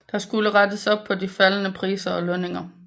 Der skulle rettes op på de faldende priser og lønninger